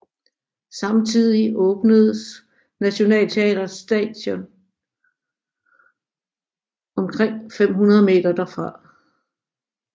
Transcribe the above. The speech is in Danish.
Samtidig åbnedes Nationaltheatret Station omkring 500 meter derfra